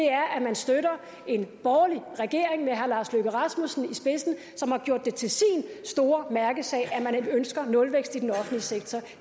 er at man støtter en borgerlig regering med herre lars løkke rasmussen i spidsen som har gjort det til sin store mærkesag at man ønsker nulvækst i den offentlige sektor